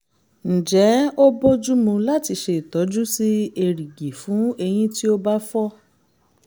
ǹjẹ́ ó bójú mu láti ṣe ìtọ́jú sí erìgì fún eyín tí ó bá fọ́?